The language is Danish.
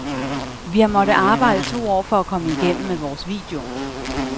Vi har måttet arbejde to år for at komme igennem med vores video.